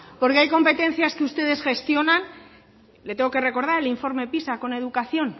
porque hay competencias que ustedes gestionan le tengo que recordar el informe pisa con educación